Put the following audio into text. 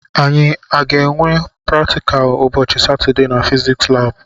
Anyi a ga-enwe praktikal ụbọchị Satọdee na fiziks labụ?